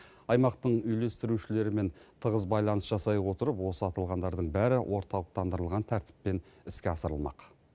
аймақтың үйлестірушілермен тығыз байланыс жасай отырып осы аталғандардың бәрі орталықтандырылған тәртіппен іске асырылмақ